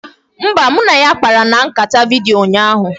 Mba, mụ na ya kpara na nkata vidiyo ụnyaahụ